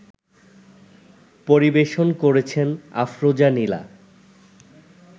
পরিবেশন করেছেন আফরোজা নীলা